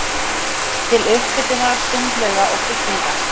til upphitunar sundlauga og bygginga.